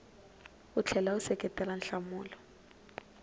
u tlhela u seketela nhlamulo